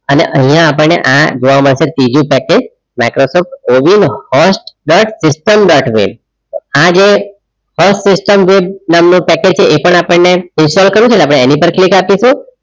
અને અહીંયા આપણને આ જોવા મળશે ત્રીજો પેકેજ માઈક્રોસોફ્ટ ઓવીલ dot system dot web આજે first system નામનો પેકેજ છે એ પણ આપણને ઇન્સ્ટોલ કરેલો એની પર click આપીશું